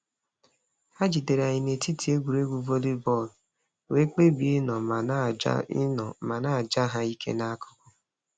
Ha jidere anyị n'etiti egwuregwu vollybọọlụ wee kpebie ịnọ ma na-aja ịnọ ma na-aja ha ike n'akụkụ.